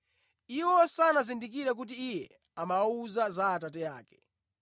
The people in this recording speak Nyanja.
Iwo sanazindikire kuti Iye amawawuza za Atate ake.